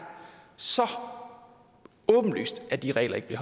så åbenlyst at de regler ikke